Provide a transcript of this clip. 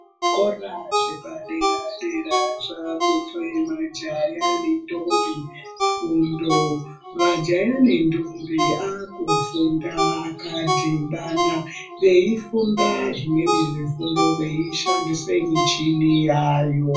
Zvikora zvepadera-dera zvaakupe majaya nembombi fundo, majaya nendombi vaakufunda vakadhibana veifunda zvimweni zvifundo veishandise michini yaayo.